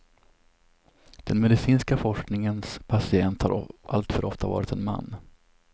Den medicinska forskningens patient har alltför ofta varit en man.